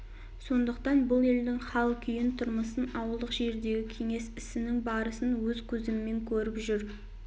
сондықтан бұл елдің хал-күйін тұрмысын ауылдық жердегі кеңес ісінің барысын өз көзімен көріп жүр